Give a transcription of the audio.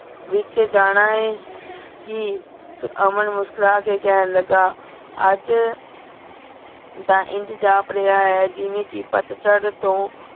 ਵਿਚ ਜਾਣਾ ਆਯ ਕੀ ਅਮਨ ਮੁਸ੍ਕੁਰਾ ਕੇ ਕੇਹਨ ਲਗਾ ਅਜ ਤਾਂ ਇੰਜ ਜਾਪ ਰਿਹਾ ਹੈ ਜਿਵੇਂ ਕੀ ਪਤਝੜ ਤੋਂ